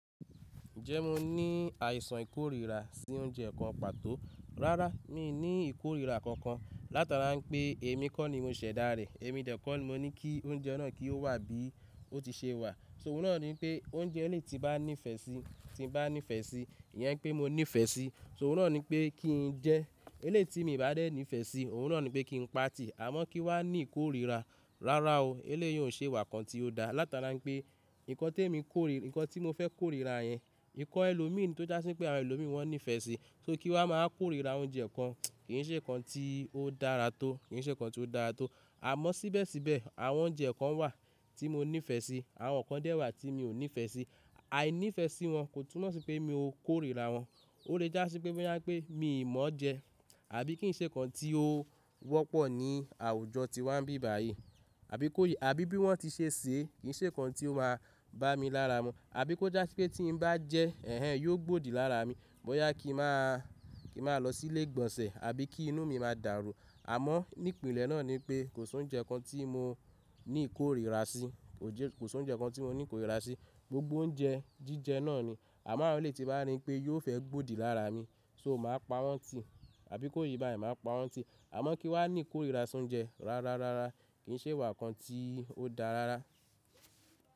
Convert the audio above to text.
Ǹjẹ́ mo ní àìsàn ìkórìíra sí oúnjẹ kan pàtó? Rárá, mi ò ní ìkórìíra kankan. Látara pé èmi kọ́ ni mo ṣẹ̀dá rẹ̀, èmi kọ́ ni mo ní kí oúnjẹ náà kí ó wà bí ó ti ṣe wà. Ṣó òhun rán ni pé oúnjẹ ẹlẹ́tí bá ní ìfẹ́ sí, tí bá ní ìfẹ́ sí, ìyẹn pé mo ní ìfẹ́ sí. Ṣó òhun rán ni pé kí n jẹ. Elétí mi bá dé ní ìfẹ́ sí, òhun rán ni pé kí n pati. Àmọ́ kí wá ní ìkórìíra. Rárá o, eléyìí ò ṣe ìwà kan tí ó dáa. Látara pé nǹkan tí mo fẹ́ kórìíra yẹn, nǹkan ẹlòmíràn tó já sí pé àwọn ẹlòmíràn wọn ní ìfẹ́ sí. Só kí wá máa kórìíra oúnjẹ kan kì í ṣe nǹkan tí ó dára tó, kì í ṣe nǹkan tí ó dára tó. Àmọ́ síbẹ̀síbẹ̀ àwọn oúnjẹ kan wà tí mo ní ìfẹ́ sí, àwọn kan dé wà tí mo ò ní ìfẹ́ sí. Àìní ìfẹ́ sí wọn kò túmọ̀ sí pé mi ò kórìíra wọn. Ó lè já sí pé bóyá pé mi ò mọ̀ jẹ, àbí kì í ṣe nǹkan tí ó wọ́pọ̀ ní àwùjọ tí wá ń bí báyìí, àbí bí wọ́n ti ṣe ṣé, kì í ṣe nǹkan tí ó máa bá mi lára mu. Àbí kó já sí pé tí n bá jẹ́, ẹ̀hen yóò gbòdì lára mi. Bóyá kí n máa lọ sí ilé ìgbọ̀nsẹ̀ àbí kí inú mi máa dàrú. Àmọ́ nípílẹ̀ náà ni pé kò sọ oúnjẹ kan tí mo ní ìkórìíra sí. Kò sọ oúnjẹ kankan tí mo ní ìkórìíra sí. Gbogbo oúnjẹ jíjẹ náà ni. Àmọ́ àwọn elétí bá rí i pé yóò fẹ́ gbòdì lára mi, só máa pa wọ́n tì. Àbí kó ye báyìí máa pa wọ́n tì. Àmọ́ kí wá ní ìkórìíra sí oúnjẹ. Rárá, rárá, rárá, kì í ṣe ìwà kan tí ó da rárá.